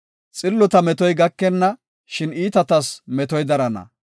Xillota metoy gakenna; shin iitatas metoy darana.